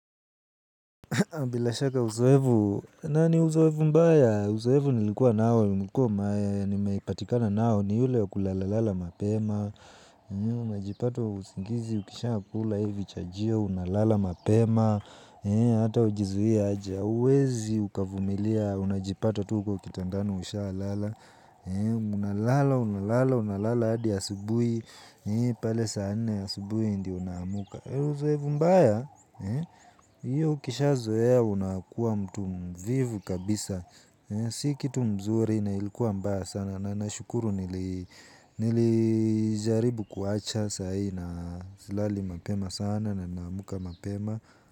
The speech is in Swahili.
Bila shaka uzoefu, na ni uzoefu mbaya? Uzoefu nilikuwa nao, nilikuwa, nimeipatikana nao, ni ule wa kulala lala mapema. Unajipata usingizi, ukishakula hivi chajio, unalala mapema. Hata hujizuie aje hauwezi ukavumilia, unajipata tu uko kitandani ushalala. Unalala, unalala, unalala, hadi asubuhi, pale saa nne, asubui ndio unaamuka. Uzoefu mbaya, hiyo ukisha zoea unakuwa mtu mvivu kabisa, si kitu mzuri na ilikuwa mbaya sana na nashukuru nilijaribu kuacha sahii na silali mapema sana na naamka mapema.